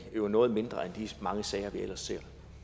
noget mindre end de mange sager vi ellers